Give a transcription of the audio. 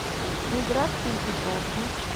миграции петровне